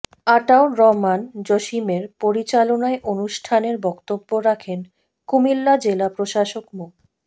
আতাউর রহমান জসিমের পরিচালনায় অনুষ্ঠানের বক্তব্য রাখেন কুমিল্লা জেলা প্রশাসক মো